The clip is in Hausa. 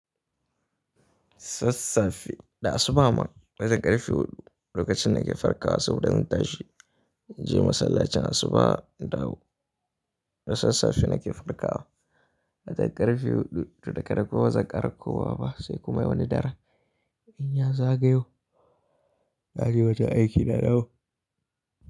Sassafe, da asuba ma wajen ƙarfe huɗu lokacin da ke farkawa, so in dan tashi, in je masallacin asuba indawo. Da sassafe nake farkawa. Wajen ƙarfe huɗu, da dare kuwa wazan ƙarfe goma ba sai kuma wani dare. In na zagayo, na je wajen aiki da dahu.